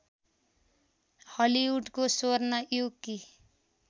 हलिउडको स्वर्ण युगकी